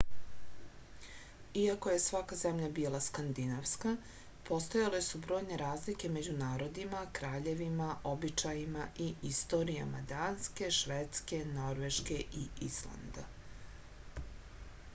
iako je svaka zemlja bila skandinavska postojale su brojne razlike među narodima kraljevima običajima i istorijama danske švedske norveške i islanda